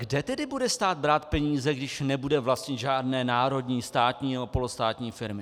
Kde tedy bude stát brát peníze, když nebude vlastnit žádné národní, státní nebo polostátní firmy?